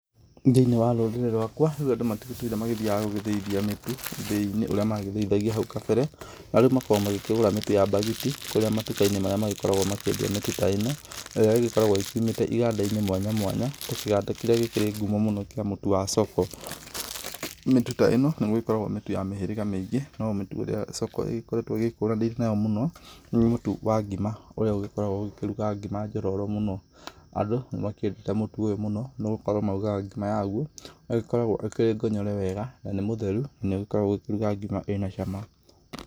Thĩinĩ wa rũrĩrĩ rwakwa rĩu andũ matĩgĩtũire magĩthiaga gũthĩithia mĩtu ithĩinĩ ũrĩa magĩthĩithagia hau kabere, na rĩu magĩkoragwo magĩkĩgũra mĩtũ ya mbagiti, kũria matuka -inĩ marĩa magĩkoragwo makĩendia mĩtu ta ĩno, ĩrĩa ĩgĩkoragwo ĩkiumĩte iganda -inĩ mwanya, mwanya, ta kĩganda kĩrĩa gĩkĩrĩ ngumo mũno kĩa mũtu wa Soko, mĩtu ta ĩno nĩ gũgĩkoragwo mĩtu ya mĩhĩrĩga mĩĩngĩ no mĩtu ĩrĩa Soko ĩgĩkoragwo ĩgĩkuranĩte nayo mũno, nĩ mũtu ya ngima, ũrĩa ũgĩkoragwo ũkĩruga ngima njororo mũno, andũ nĩ makĩendete mũtu ũyũ mũno, nĩ gukorwo maugaga ngima waguo, ĩgĩkoragwo ĩkĩrĩ ngonyore wega, na nĩ mũtheru na nĩ ũgĩkoragwo ũgĩkĩruga ngima ĩna cama.